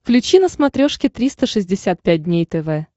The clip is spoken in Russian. включи на смотрешке триста шестьдесят пять дней тв